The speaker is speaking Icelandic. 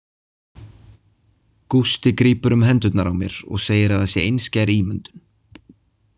Gústi grípur um hendurnar á mér og segir að það sé einskær ímyndun.